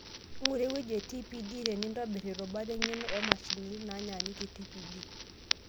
Ing'ura ewueji e TPD tenintobirr irubat eng'eno oomashinini naanyikita TPD.